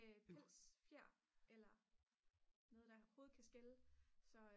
pels fjer eller noget der overhovedet kan skelle